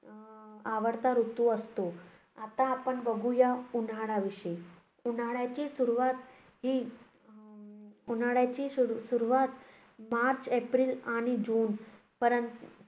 आवडता ऋतू असतो. आता आपण बघूया उन्हाळ्याविषयी. उन्हाळ्याची सुरुवात ही उन्हाळ्याची सुरु~ सुरुवात मार्च एप्रिल आणि जूनपर्यंत